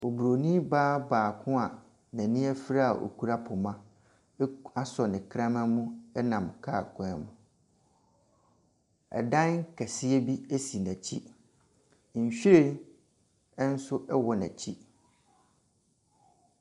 Ɔbronii baa baako a n'ani afira ɔkura poma asɔ ne kraman mu ɛrenam car kwan mu. Ɛdan kɛseɛ bi si n'akyi. Nwhiren ɛnso ɛwɔ n'akyi.